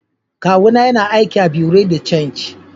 kawu na yana aiki a buerea de change.